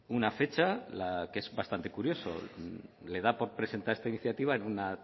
una fecha que es bastante curioso le da por presentar esta iniciativa en una